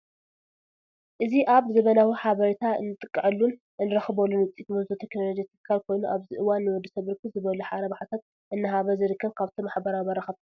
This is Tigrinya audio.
እዚ አብ ዘመናዊ ሐበሬታ እንጥቀዐሉን እንረኽበሉን ውፅኢት ምሆዞ ቴክኖሎጂ ትካል ኮይኑ አብዚ እዋን ንወድሰብ ብርክት ዝበሉ ረብሐታት እናሃበ ዝርከብ ካብቶም ማሕበራዊ መራኸብቲ ሐደ እዩ።